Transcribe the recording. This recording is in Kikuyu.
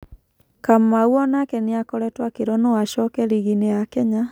Kamau onake niakoretwo akĩrwo no acoke riginĩ ya Kenya.